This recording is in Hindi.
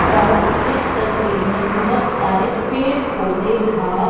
और इस तस्वीर में बहुत सारे पेड़ पौधे घास--